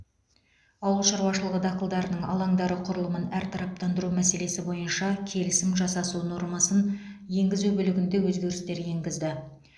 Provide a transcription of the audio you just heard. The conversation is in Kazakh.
ауыл шаруашылығы дақылдарының алаңдары құрылымын әртараптандыру мәселесі бойынша келісім жасасу нормасын енгізу бөлігінде өзгерістер енгізді